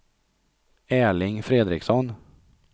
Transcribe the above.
Erling Fredriksson